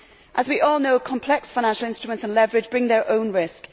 As we all know, complex financial instruments and leverage bring their own risk.